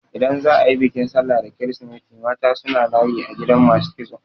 Idan za a yi bikin sallah da kirisimeti mata suna layi a gidan masu kitso.